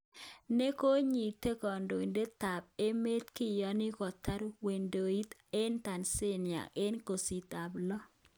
Nekonyitot kodoidet tab emet kiyoni kotar wedoenyin eng Tanzania eng kasitab lo